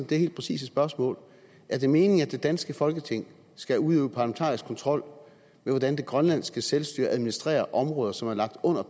det helt præcise spørgsmål er det meningen at det danske folketing skal udøve parlamentarisk kontrol med hvordan det grønlandske selvstyre administrerer områder som er lagt under